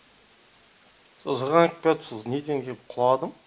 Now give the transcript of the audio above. со зырғанап келатып со неден кеп құладым